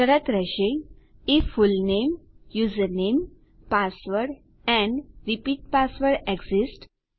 શરત રહેશે if full name username password and repeat password exist